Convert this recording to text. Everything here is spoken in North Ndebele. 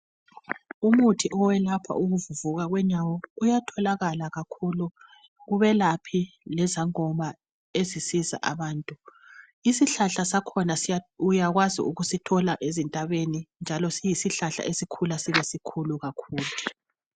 Umuthi owelapha ukuvuvuka kwenyawo uyatholakala kakhulu kubelaphi lezangoma ezisiza abantu. Isihlahla sakhona uyakwazi ukusithola ezintabeni njalo siyisihlahla esikhula sibe sikhulu kakhulu.